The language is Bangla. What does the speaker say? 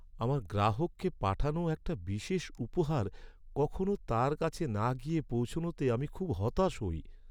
আমার গ্রাহককে পাঠানো একটা বিশেষ উপহার কখনো তার কাছে না গিয়ে পৌঁছনোতে আমি খুব হতাশ হই।